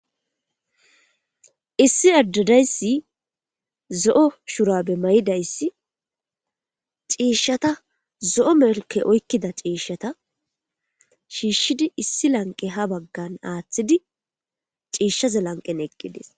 Issi adde dayssi zo'o shurabe mayidayssi ciishshata zo'o melke oykkida ciishata shiishshidi issi lanqe ha baggan aaththidi ciishshaza lanqen eqqidis.